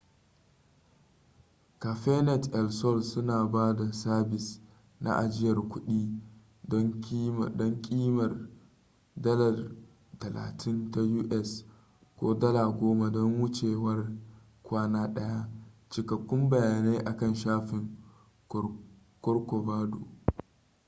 cafenet el sol suna ba da sabis na ajiyar kuɗi don ƙimar us $ 30 ko $ 10 don wucewar kwana ɗaya; cikakkun bayanai akan shafin corcovado